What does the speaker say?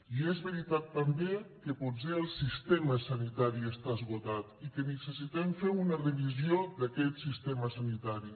i és veritat també que potser el sistema sanitari està esgotat i que necessitem fer una revisió d’aquest sistema sanitari